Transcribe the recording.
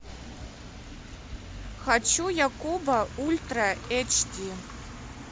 хочу якуба ультра эйч ди